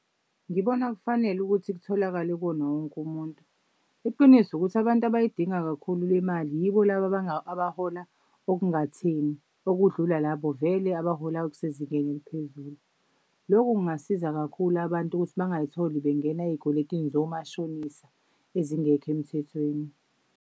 Ngibona kufanele ukuthi kutholakale kuwona wonke umuntu. Iqiniso ukuthi abantu abayidinga kakhulu le mali yibo labo abahola okungatheni okudlula labo vele abahola okusezingeni eliphezulu. Loku kungasiza kakhulu abantu ukuthi bangayitholi bengena ey'kweletini zomashonisa ezingekho emthethweni.